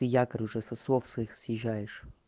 ты якорь уже со слов своих съезжаешь